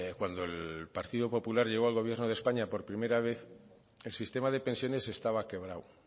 cuando el partido popular llegó al gobierno de españa por primera vez el sistema de pensiones estaba quebrado